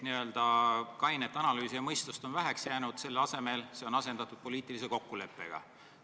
Kainet analüüsi ja mõistust on väheks jäänud, see on asendatud poliitilise kokkuleppega.